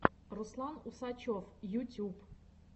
руслан усачев ютюб